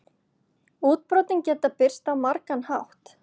Útbrotin geta birst á margan hátt.